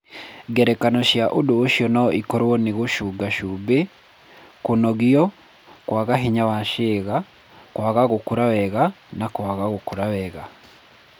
Ngerekano cia ũndũ ũcio no ikorũo nĩ gũcũnga cumbĩ, kũnogio, kwaga hinya wa ciĩga, kwaga gũkũra wega na kwaga gũkũra wega.